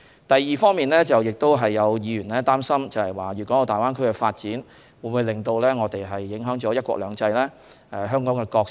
第二，有議員擔心粵港澳大灣區的發展會否影響"一國兩制"和香港的角色？